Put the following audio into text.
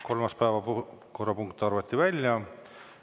Kolmas päevakorrapunkt arvati välja.